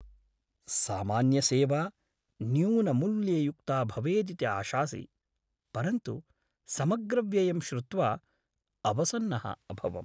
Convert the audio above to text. सामान्यसेवा न्यूनमूल्ययुक्ता भवेदिति आशासि, परन्तु समग्रव्ययं श्रुत्वा अवसन्नः अभवम्।